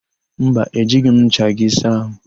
Mba, ejighị m ncha gị saa àhụ́.